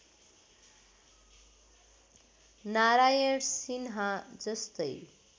नारायण सिन्हा जस्तै